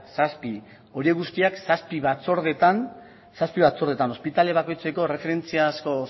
zazpi horiek guztiak zazpi batzordeetan zazpi batzordeetan ospitale bakoitzeko erreferentziazko